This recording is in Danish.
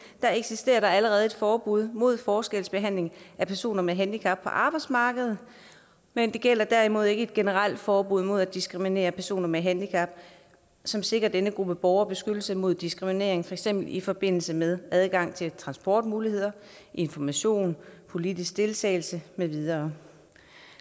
at der allerede eksisterer et forbud mod forskelsbehandling af personer med handicap på arbejdsmarkedet men det gælder derimod ikke et generelt forbud mod at diskriminere personer med handicap som sikrer denne gruppe borgere beskyttelse mod diskriminering for eksempel i forbindelse med adgang til transportmuligheder information politisk deltagelse med videre